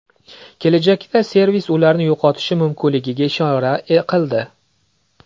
Kelajakda servis ularni yo‘qotishi mumkinligiga ishora qildi.